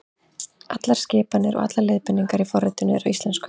Allar skipanir og leiðbeiningar í forritinu eru á íslensku.